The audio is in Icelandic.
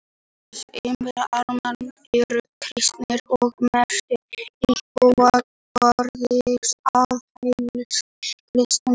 Langflestir íbúar Armeníu eru kristnir og meirihluti íbúa Georgíu aðhyllist kristna trú.